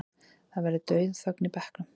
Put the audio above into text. Það verður dauðaþögn í bekknum.